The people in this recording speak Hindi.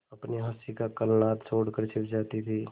अपनी हँसी का कलनाद छोड़कर छिप जाती थीं